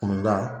Kɔnɔda